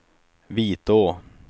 Vitå